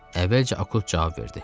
Əvvəlcə Akut cavab verdi.